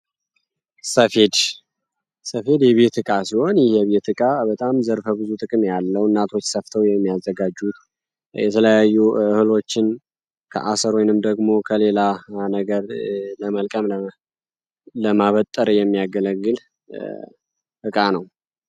ሰፌድ የቤትትቃ ሲሆን ይህ የትቃ በጣም ዘርፈ ብዙ ጥቅሜ ያለው እናቶች ሰፍተው የሚያዘጋጁት የተለያዩ እህሎችን ከአስር ወንም ደግሞ ከሌላ ነገር ለመልቀም ለማበጠር የሚያገለግል እቃ ነው